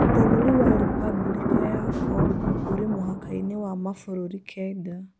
Bũrũri wa Repubulika ya Congo ũrĩ mũhakaĩnĩ wa mabũrũri kenda.